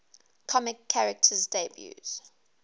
comics characters debuts